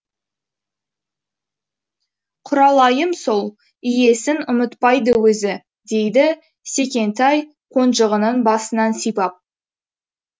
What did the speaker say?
құралайым сол иесін ұмытпайды өзі дейді секентай қонжығының басынан сипап